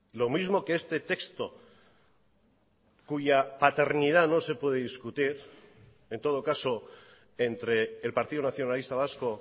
lo mismo que este texto cuya paternidad no se puede discutir en todo caso entre el partido nacionalista vasco